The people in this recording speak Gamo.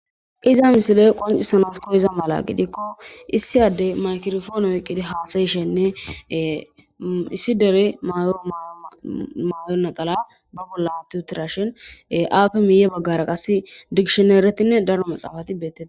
iza misile qoncisanasko iza mala gidikko issiyaddey maykirofoone wiqqidi haasayishenne issi dere yomayoo naxala ba bolla tutirashin aafe miye baggara qasi digishineeretinne daro maxaafati beettee